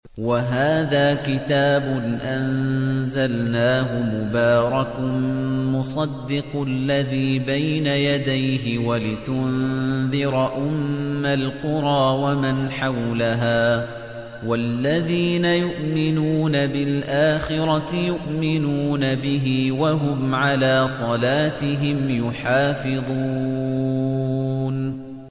وَهَٰذَا كِتَابٌ أَنزَلْنَاهُ مُبَارَكٌ مُّصَدِّقُ الَّذِي بَيْنَ يَدَيْهِ وَلِتُنذِرَ أُمَّ الْقُرَىٰ وَمَنْ حَوْلَهَا ۚ وَالَّذِينَ يُؤْمِنُونَ بِالْآخِرَةِ يُؤْمِنُونَ بِهِ ۖ وَهُمْ عَلَىٰ صَلَاتِهِمْ يُحَافِظُونَ